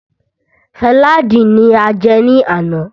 Sàlaadi ní a jẹ ní àná.